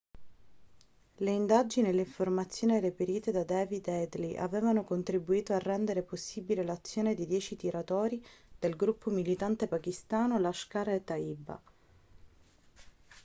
le indagini e le informazioni reperite da david headley avevano contribuito a rendere possibile l'azione dei 10 tiratori del gruppo militante pakistano lashkar-e-taiba